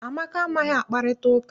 Amaka amaghị akparịta ụka.